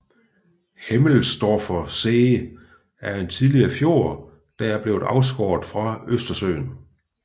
Hemmelsdorfer See er en tidligere fjord der er blevet afskåret fra Østersøen